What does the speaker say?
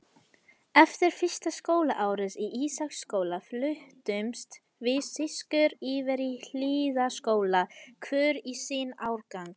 Eftir fyrsta skólaárið í Ísaksskóla fluttumst við systur yfir í Hlíðaskóla, hvor í sinn árgang.